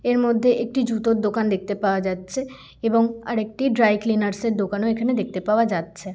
এর মধ্যে একটি জুতোর দোকান দেখতে পাওয়া যাচ্ছে এবং আর একটি ড্রাই ক্লীনার্স এর দোকান ও এখানে দেখতে পাওয়া যাচ্ছে।